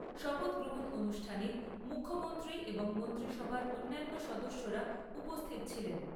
শপথ গ্রহণ অনুষ্ঠানে মুখ্যমন্ত্রী এবং মন্ত্রীসভার অন্যান্য সদস্যরা উপস্থিত ছিলেন।